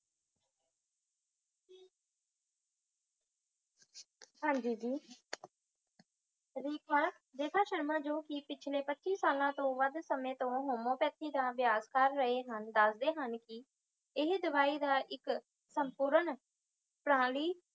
ਹਾਂਜੀ ਜੀ, ਰੇਖਾ ਸ਼ਰਮਾ ਜੋ ਕਿ ਪਿਛਲੇ ਪੱਚੀ ਸਾਲਾਂ ਤੋਂ ਵੱਧ ਸਮੇਂ ਤੋਂ homeopathy ਦਾ ਅਭਿਆਸ ਕਰ ਰਹੇ ਹਨ, ਦਸਦੇ ਹਨ ਕਿ ਇਹ ਦਵਾਈ ਦਾ ਇੱਕ ਸੰਪੂਰਣ ਪ੍ਰਣਾਲੀ